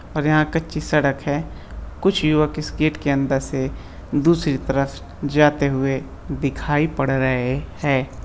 और यहाँ कच्ची सड़क है। कुछ युवक इस गेट के अंदर से दूसरी तरफ जाते हुए दिखाई पड़ रहे है।